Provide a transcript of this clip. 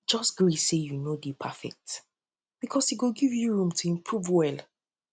jus gree um sey yu no dey perfect bikos e perfect bikos e go um giv yu um room to improve well